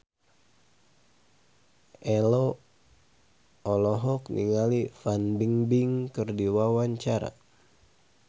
Ello olohok ningali Fan Bingbing keur diwawancara